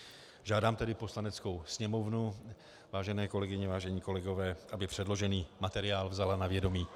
Žádám tedy Poslaneckou sněmovnu, vážené kolegyně, vážení kolegové, aby předložený materiál vzala na vědomí.